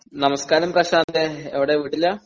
നമസ്കാരം പ്രശാന്തേ എവിടാ വീട്ടിലാ?